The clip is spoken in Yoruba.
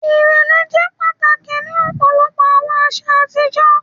Irẹlẹ jẹ pataki ni ọpọlọpọ awọn aṣa atijọ